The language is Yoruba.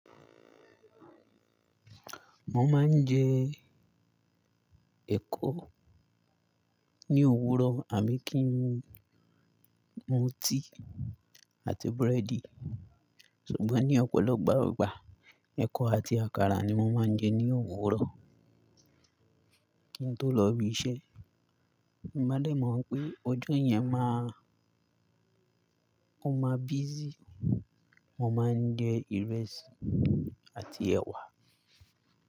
Mo máa ń jẹ ẹ̀kọ ní òwúrọ̀ àbí kì n, mu tíì àti búrẹ́dì. Ṣùgbọ́n ní ọ̀pọ̀lọpọ̀ ìgbà ìgbà, ẹ̀kọ àti àkàrà ni mo máa ń jẹ ní òwúrọ̀. Ki n tó lọ bí iṣẹ́. Ìbálé mọ̀ pé ọjọ́ yẹn máa, ó máa busy. Mo máa ń jẹ ìrẹsì àti ẹ̀wà.